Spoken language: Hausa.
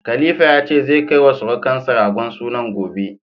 Khalifa ya ce, zai kai wa sirukansa ragon sunan gobe.